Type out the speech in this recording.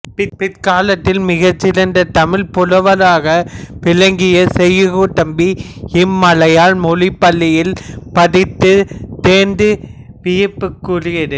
பிற்காலத்தில் மிகச் சிறந்த தமிழ்ப் புலவராக விளங்கிய செய்குதம்பி இம்மலையாள மொழிப் பள்ளியில் படித்துத் தேர்ந்தது வியப்புக்குரியது